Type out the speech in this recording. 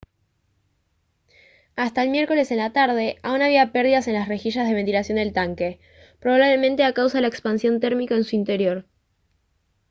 hasta el miércoles en la tarde aún había pérdidas en las rejillas de ventilación del tanque probablemente a causa de la expansión térmica en su interior